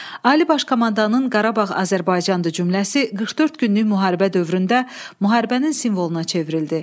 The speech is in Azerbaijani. Ali Baş Komandanın Qarabağ Azərbaycandır cümləsi 44 günlük müharibə dövründə müharibənin simvoluna çevrildi.